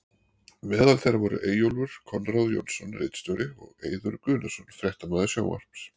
Meðal þeirra voru Eyjólfur Konráð Jónsson ritstjóri og og Eiður Guðnason fréttamaður sjónvarps.